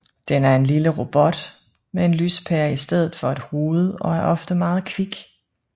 Den er en lille robot med en lyspære i stedet for et hoved og er ofte meget kvik